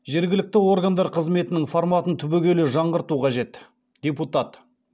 жергілікті органдар қызметінің форматын түбегейлі жаңғырту қажет депутат